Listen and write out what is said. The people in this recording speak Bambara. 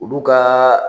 Olu ka